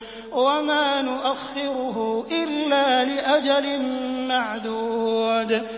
وَمَا نُؤَخِّرُهُ إِلَّا لِأَجَلٍ مَّعْدُودٍ